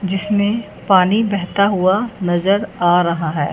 जिसमें पानी बहता हुआ नजर आ रहा है।